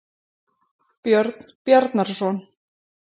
Björn Bjarnarson.